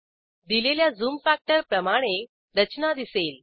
दिलेल्या zoom factor प्रमाणे रचना दिसेल